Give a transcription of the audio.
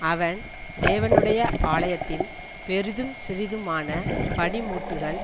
அவன் தேவனுடைய ஆலயத்தின் பெரிதும் சிறிதுமான பணிமுட்டுகள்